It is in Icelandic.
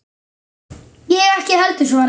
Ég ekki heldur, svaraði ég.